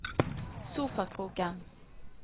sofakroken